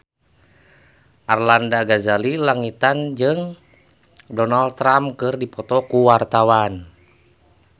Arlanda Ghazali Langitan jeung Donald Trump keur dipoto ku wartawan